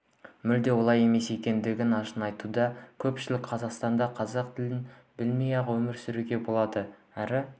мүлде олай емес екенін ашына айтуда көпшілік қазақстанда қазақ тілін білмей-ақ өмір сүруге болады әрі